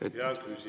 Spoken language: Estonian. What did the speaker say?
Hea küsija, teie aeg!